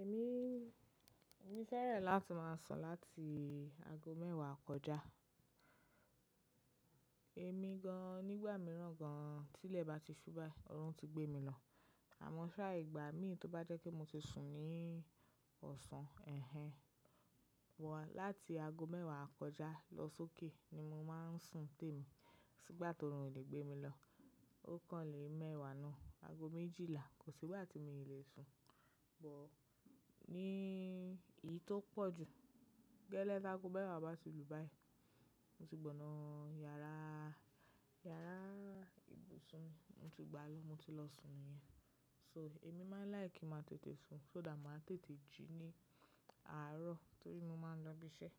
Èmi, èmi fẹ́rẹ̀n láti máa sùn láti ago mẹ́wàá kọjá. Èmi gan nígbà mìíràn gan, tí ilẹ̀ bá ti ṣú báyìí, ọrùn ti gbé mi lọ. Àmọ́ ṣá ìgbà mi tó bá jẹ́ kí mo ti sùn ní ọ̀sán, ẹhen. Wa láti ago mẹ́wàá kọjá lọ sókè ni mo máa ń sùn tèmi. Kosí gbà tó orùn o lè gbé mi lọ. Ó kan lè mẹ́wàá náà, ago méjìlá, kò sí gbá tí mio lè sùn. But ní ìyí tó pọ̀ jù, gẹ́lẹ́ bi ágo mẹ́wàá bá ti lù báyìí, mo ti gbọ̀nà yàrá, yàrá ibùsùn mi, mo ti gbá a lọ, mo ti lọ sùn niyẹn. So èmi máa ń like kí màá tètè sùn, so dà màá tètè jí ní àárọ̀ torí mo máa ń lọ ibi iṣẹ́.